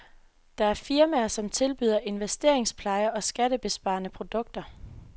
Der er firmaer, som tilbyder investeringspleje og skattebesparende produkter.